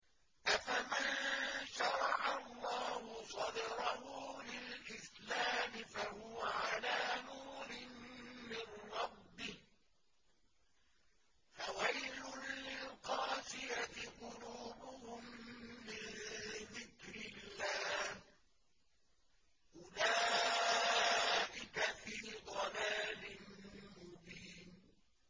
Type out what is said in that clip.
أَفَمَن شَرَحَ اللَّهُ صَدْرَهُ لِلْإِسْلَامِ فَهُوَ عَلَىٰ نُورٍ مِّن رَّبِّهِ ۚ فَوَيْلٌ لِّلْقَاسِيَةِ قُلُوبُهُم مِّن ذِكْرِ اللَّهِ ۚ أُولَٰئِكَ فِي ضَلَالٍ مُّبِينٍ